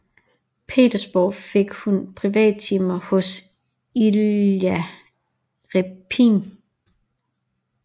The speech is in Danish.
Petersborg fik hun privattimer hos Ilja Repin